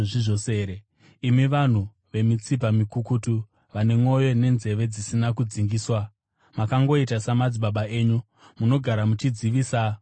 “Imi vanhu vemitsipa mikukutu, vane mwoyo nenzeve dzisina kudzingiswa! Makangoita samadzibaba enyu: Munogara muchidzivisa Mweya Mutsvene!